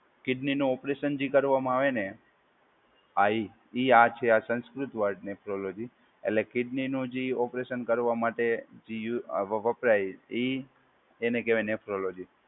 Kidney નું operation જે કરવામાં આવે ને હા એ એ આ છે આ સંસ્કૃત વર્ડ નેફ્રોલોજી. એટલે કિડનીનું જે ઓપરેશન કરવા માટે જે યુ અ વપરાય એ એને કહેવાય નેફ્રોલોજી.